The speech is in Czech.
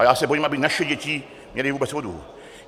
A já se bojím, aby naše děti měly vůbec vodu.